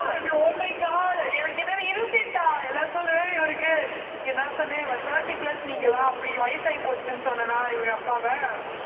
oh my god எனக்கு என்னது இருபத்தி எட்டா இவருக்கு நான் சொன்னேன் thirty plus நீங்கெல்லாம் அப்படி வயசாயி போச்சுன்னு சொன்னனா இவங்க அப்பாவை